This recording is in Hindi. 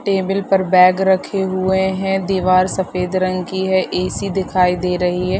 टेबल पर बैग रखे हुए हैं दीवार सफेद रंग की है ए.सी. दिखाई दे रही है ।